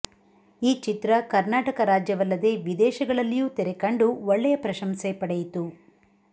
ಈ ಚಿತ್ರ ಕರ್ನಾಟಕ ರಾಜ್ಯಾವಲ್ಲದೇ ವಿದೇಶಗಳಲ್ಲಿಯೂ ತೆರೆಕಂಡು ಒಳ್ಳೆಯ ಪ್ರಶಂಸೆ ಪಡೆಯಿತು